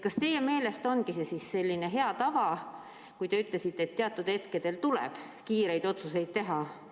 Kas teie meelest on see selline hea tava, kui te ütlesite, et teatud hetkedel tuleb kiireid otsuseid teha?